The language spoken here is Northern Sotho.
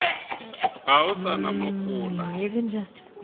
ga o sa na mohola